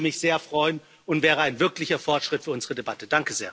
Das würde mich sehr freuen und wäre ein wirklicher Fortschritt für unsere Debatte.